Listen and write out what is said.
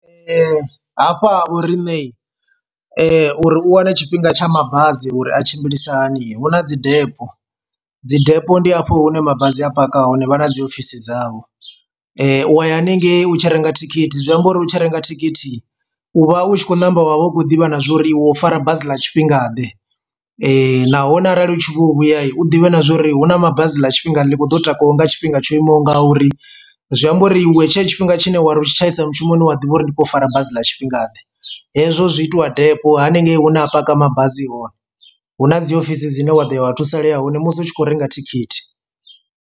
Hafha ha vhoriṋe uri u wane tshifhinga tsha mabazi uri a tshimbilisa hani hu na dzi depo, dzi depo ndi hafho hune mabasi a paka hone vha na dziofisi dzavho u wa ye haningei u tshi renga thikhithi, zwi amba uri u tshi renga thikhithi u vha u tshi kho namba wa vha u khou ḓivha na zwa uri iwe u fara basi ḽa tshifhinga ḓe, nahone arali u tshi vho vhuya u ḓivhi na zwori hu na mabasi ḽa tshifhinga ḽi kho takuwa nga tshifhinga tsho imaho nga uri. Zwi amba uri iwe tshifhinga tshine wari u tshi tshaisa mushumoni wa ḓivha uri ndi khou fara basi ḽa tshifhingaḓe hezwo zwi itiwa depo haningei hune a paka mabazi hone hu na dziofisi dzine wa ḓo ya vha thusalea hone musi hu tshi khou renga thikhithi.